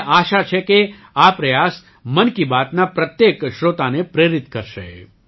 મને આશા છે કે આ પ્રયાસ મન કી બાતના પ્રત્યેક શ્રોતાને પ્રેરિત કરશે